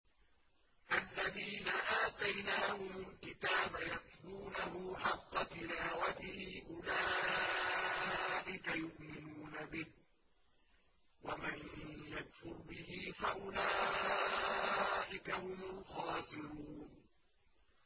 الَّذِينَ آتَيْنَاهُمُ الْكِتَابَ يَتْلُونَهُ حَقَّ تِلَاوَتِهِ أُولَٰئِكَ يُؤْمِنُونَ بِهِ ۗ وَمَن يَكْفُرْ بِهِ فَأُولَٰئِكَ هُمُ الْخَاسِرُونَ